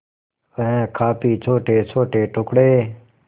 वह काफी छोटेछोटे टुकड़े